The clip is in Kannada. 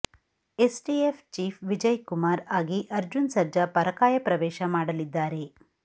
ಎಸ್ಟಿಎಫ್ ಚೀಫ್ ವಿಜಯ್ ಕುಮಾರ್ ಆಗಿ ಅರ್ಜುನ್ ಸರ್ಜಾ ಪರಕಾಯ ಪ್ರವೇಶ ಮಾಡಲಿದ್ದಾರೆ